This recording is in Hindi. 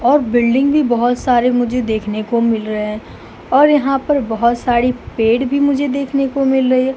और बिल्डिंग भी बहोत सारे मुझे देखने को मिल रहे हैं और यहाँ पर बहोत सारी पेड़ भी मुझे देखने को मिल रही है।